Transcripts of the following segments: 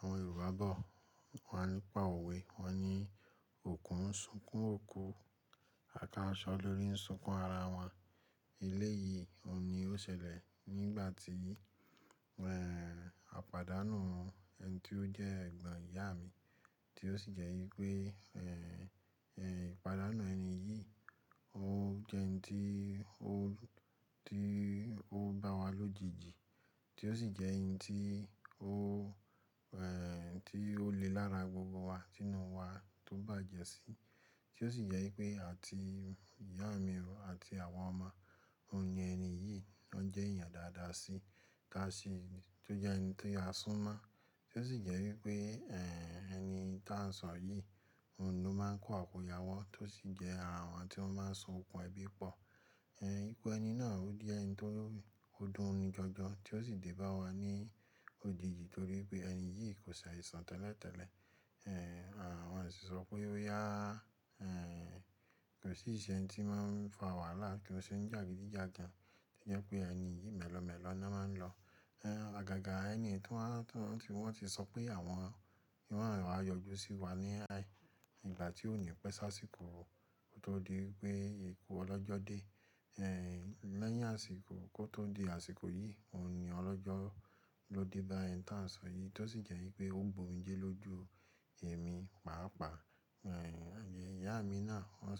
Àwọn Yorùbá bọ̀ wá nípa òwe, wọ́n ní “òkú ń sunkún òkú, àkáṣọ lórí ń sunkún ara wọn”. Ilé yìí, òun ni ó ṣẹlẹ̀ nígbà tí, ehn, a pàdánù ẹni tí ó jẹ́ ẹ̀gbọ́n ìyá mi, tí ó sì jẹ́ wípé, ehn, ehn, ìpàdánù ẹni yìí ó jẹ́ ẹni tí ó, tí ó bá wa lójijì, tí ó sì jẹ́ ẹni tí ó, ehn, tí ó le lára gbogbo wa, sínú wa tó bàjẹ́ sí i, tí ó sì jẹ́ wípé àti ìyá mi àti àwa ọmọ, òun ni ẹni yìí ló ń jẹ́ èèyàn dáadáa sí i, ta si, tí ó jẹ́ ẹni tí a súnmọ́, tí ó sì jẹ́ wípé, ehn, ẹni tí à ń sọ yìí, òun ló máa ń kó àkùayawọ́, tó sì jẹ́ ara wọn tí ó máa ń so okùn ẹbí pọ̀. Ehn, ikú ẹni náà ó di ẹni tó o dún ni jọjọ, tí ó sì dé bá wa ní òjijì torí pé ẹni yìí kò saisan tẹ́lẹ̀tẹ́lẹ̀. Ehn, àwọn òṣìṣọ́ pé ó yá, ehn, kò sí ṣe tí máa ń fa wàhálà kí ó sì ń jàgídíjàgan, tí jẹ́ pé ẹni yìí mẹ́lọ̀ọ́mẹ́lọ̀ ná máa ń lọ. Ehn, àgàgà ẹniyi tu wan, tí wọ́n ti sọ pé àwọn yo wa yọjú sí wa ní a in, nígbà tí òní pẹ́ sáàsìkò ko tó di wípé ikú ọlọ́jọ́ dé, ehn, lẹ́yìn àsìkò kó tó di àsìkò yìí, òun ni ọlọ́jọ́ ló dé bá ẹni tí à ń sọ yìí, tó sì jẹ́ wípé ó gbomijé lójú èmi, pàápàá. Ehn, àbí ìyá mi náà wọ́n,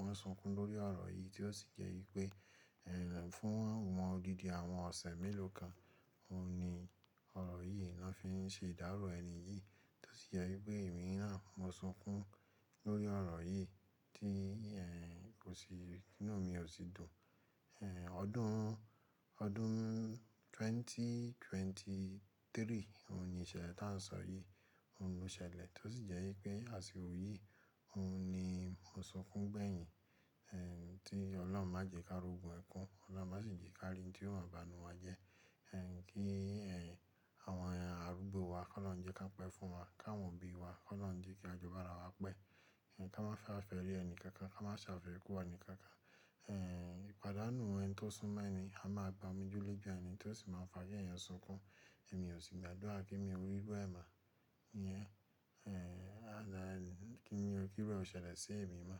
wọ́n sunkún lórí ọ̀rọ̀ yìí tí ó sì jẹ́ wípé, ehn, fún wọn òdidi àwọn ọ̀sẹ̀ mélòó kan, òun ni ọ̀rọ̀ yìí ni wọ́n fi ń ṣe ìdárò ẹni yìí, tó sì jẹ́ wípé èmi náà mo sunkún lórí ọ̀rọ̀ yìí tí, ehn, kò sì, inú mi ò sì dùn. Ehn, ọdún, ọdún 2023 òun ni ìṣẹ̀lẹ̀ tí à ń sọ yìí, òun ló ṣẹlẹ̀, tó sì jẹ́ wípé àsìkò yìí, òun ni mo sunkún gbẹ̀yìn. Ehn, tí Ọlọ́run má jẹ káro gun ẹkún, Ọlọ́run má sì jẹ ká ri n tí ó máa banu wa jẹ. Ehn, kí, ehn, àwọn arúgbó wa kọ ọlọrun jẹ́ kán pẹ́ fún wa, káwọn òbí wa kọ ọlọrun jẹ́ kí a jọ bára wa pẹ́. Ehn, ká má ṣafẹ́rẹ ẹni kankan, ká má sàfẹ́rẹ ikú wá ẹni kankan. Ehn, ìpàdánù ẹni tí ó súnmọ́ ẹni, a máa gba omije loju ẹni tí ó sì máa ń fa kí èèyàn yan sunkún. Ẹ̀mí ò sì gbàdúrà kí èmi o ri iru ẹ mọ iyẹn, ehn, alani kí iru ẹ ọ̀ ṣẹlẹ̀ sí èmi mọ́.